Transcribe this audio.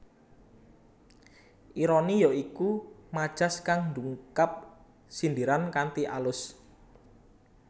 Ironi ya iku majas kang ndungkap sindiran kanthi alus